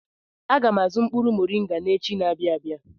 Aga m azụ mkpụrụ moringa echi na-abịa abịa.